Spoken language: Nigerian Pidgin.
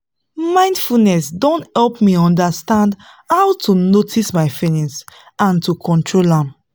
mindfulness don help me understand how to notice my feelings and to control am